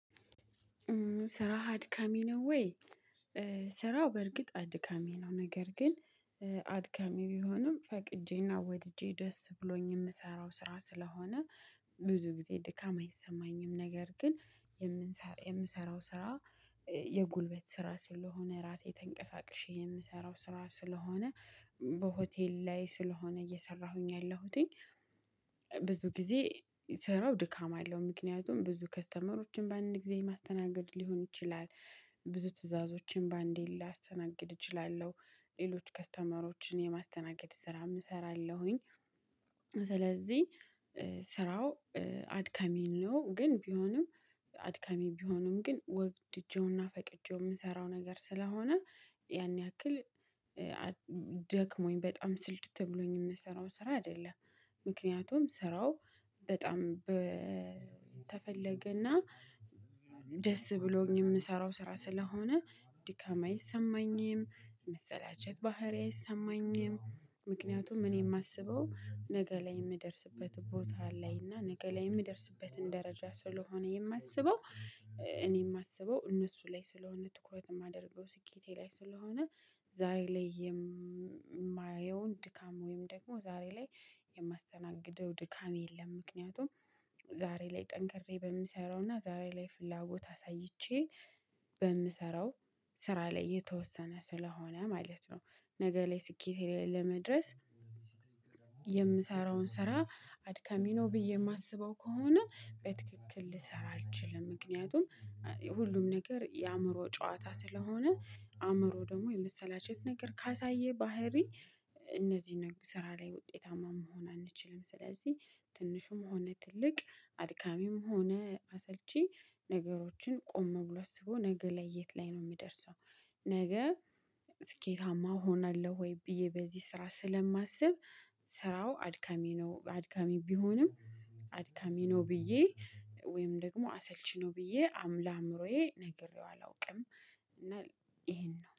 ስራህ አድካሚ ነው ወይ? ስራው በእርግጥ አድካሚ ነው ነገር ግን አድካሚ ቢሆንም ፈቅጄ እና ወድጄ ደስ ብሎኝ ምሰራው ስራ ስለሆነ ብዙ ጊዜ ድካም አይሰማኝም። ነገር ግን የምንሰራው ስራ የጉልበት ስራ ስለሆነ ራሴ ተንቀሳቅሼ የምሰራው ስራ ስለሆነ በሆቴል ላይ ስለሆነ እየሰራሁኝ ያለሁትኝ። ብዙ ጊዜ ስራው ድካም አለው ምክንያቱም ብዙ ከስተመሮችም በአንድ ጊዜ ማስተናገድ ሊሆን ይችላል ብዙ ትዕዛዞችን በአንዴ ላስተናግድ እችላለሁ ሌሎች ከስተመሮችን የማስተናገድ ስራ እሰራለሁኝ። ስለዚህ ስራው አድካሚ ነው። ግን ቢሆንም አድካሚ ቢሆንም ግን ወድጄውና ፈቅጄው ምሰራው ነገር ስለሆነ ያን ያክል ደክሞኝ በጣም ስልችት ብሎኝ ምሰራው ስራ አይደለም። ምክንያቱም ስራው በጣም ተፈለገና ደስ ብሎኝ ምሰራው ስራ ስለሆነ ድካም አይሰማኝም። መሰላቸት ባህሪ አይሰማኝም ምክንያቱም እኔ ማስበው ነገ ላይ ምደርስበት ቦታ ላይ እና ነገ ላይ ምደርስበትን ደረጃ ስለሆነ የማስበው። እኔ የማስበው እነሱ ላይ ስለሆነ ትኩረት የማደርገው ስኬቴ ላይ ስለሆነ። ዛሬ ላይ የማየውን ድካም ወይም ደግሞ ዛሬ ላይ የማስተናግደው ድካም የለም። ምክንያቱም ዛሬ ላይ ጠንከሬ በምሰራው እና ዛሬ ላይ ፍላጎት አሳይቼ በምሰራው ስራ ላይ የተወሰነ ስለሆነ ማለት ነው። ነገ ላይ ስኬቴ ላይ ለመድረስ። የምሰራውን ስራ አድካሚ ነው ብዬ ማስበው ከሆነ በትክክል ልሰራ አልችልም። ምክንያቱም ሁሉም ነገር የአእምሮ ጨዋታ ስለሆነ አእምሮ ደግሞ የመሰላቸት ነገር ካሳየ ባህሪ እነዚህ ስራ ላይ ውጤታማ መሆን አንችልም። ስለዚህ ትንሹም ሆነ ትልቅ አድካሚም ሆነ አሰልቺ ነገሮችን ቆም ብሎ አስቦ ነገ ላይ የት ላይ ነው ምደርሰው? ነገ ስኬታማ እሆናለሁ ወይ ብዬ በዚህ ስራ ስለማስብ። ስራው አድካሚ ነው አድካሚ ቢሆንም አድካሚ ነው ብዬ ወይም ደግሞ አሰልቺ ነው ብዬ ለአዕምሮዬ ነግሬው አላውቅም። እና ይሄን ነው